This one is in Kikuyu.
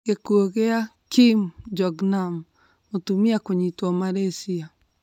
Gĩkuo kĩa Kim Jong-nam:Mũtumia kũnyitwa Malasyia